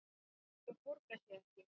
Það borgar sig ekki.